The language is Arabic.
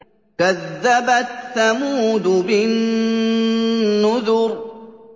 كَذَّبَتْ ثَمُودُ بِالنُّذُرِ